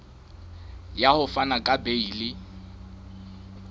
ya ho fana ka beile